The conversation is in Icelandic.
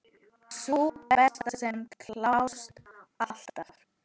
Sú besta, sem klárast alltaf.